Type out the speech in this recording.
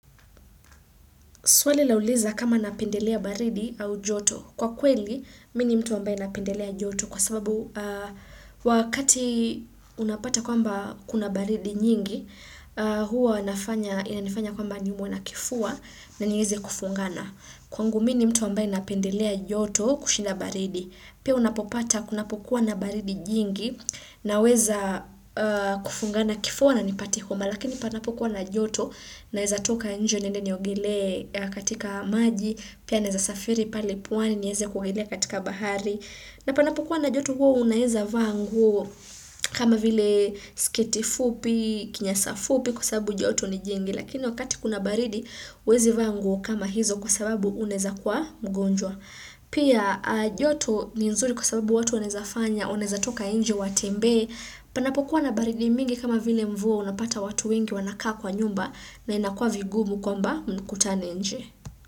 Swali lauliza kama napendelea baridi au joto. Kwa kweli, mimi ni mtu ambaye napendelea joto. Kwa sababu wakati unapata kwamba kuna baridi nyingi, huwa inanifanya kwamba niumwe na kifua na nieze kufungana. Kwangu mimi ni mtu ambaye napendelea joto kushinda baridi. Pia unapopata kunapokuwa na baridi jingi naweza kufungana kifua na nipate homa. Lakini panapokuwa na joto naeza toka nje niende niogelee katika maji pia naeza safiri pale pwani nieze kuogelea katika bahari na panapokuwa na joto huwa unaeza vaa nguo kama vile sketi fupi, kinyasa fupi kwa sababu joto ni jingi lakini wakati kuna baridi huwezi vaa nguo kama hizo kwa sababu unaeza kuwa mgonjwa pia joto ni nzuri kwa sababu watu wanaeza fanya wanaeza toka nje watembee Panapokuwa na baridi mingi kama vile mvua unapata watu wengi wanakaa kwa nyumba na inakua vigumu kwamba mkutane nje.